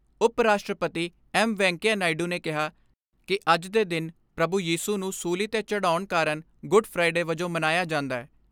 ਉਪ ਰਾਸ਼ਟਰਪਤੀ ਐਂਮ ਵੈਂਕਈਆ ਨਾਇਡੂ ਨੇ ਕਿਹਾ ਕਿ ਅੱਜ ਦੇ ਦਿਨ ਪ੍ਰਭੂ ਯੀਸ਼ੂ ਨੂੰ ਸੂਲੀ 'ਤੇ ਚੜਾਉਣ ਕਾਰਨ ਗੋਡ ਫਰਾਈਡੇ ਵਜੋਂ ਮਨਾਇਆ ਜਾਂਦੈ।